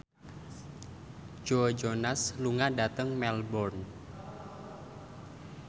Joe Jonas lunga dhateng Melbourne